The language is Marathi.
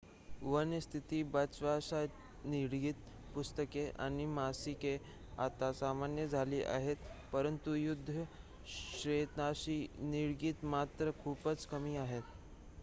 वन्य स्थितीत बचावाशी निगडीत पुस्तके आणि मासिके आता सामान्य झाली आहेत परंतु युद्ध क्षेत्राशी निगडीत मात्र खूपच कमी आहेत